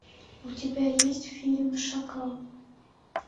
у тебя есть фильм шакал